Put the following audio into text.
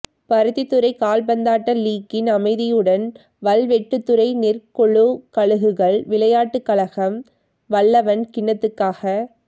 பருத்தித்துறை கால்பந்தாட்ட லீக்கின் அனுமதியுடன் வல்வெட்டித்துறை நெற் கொழு கழுகுகள் விளையாட்டுக்கழகம் வல்லவன் கிண்ணத்துக்காக